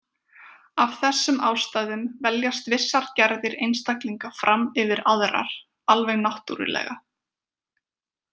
Af þessum ástæðum veljast vissar gerðir einstaklinga fram yfir aðrar, alveg náttúrulega.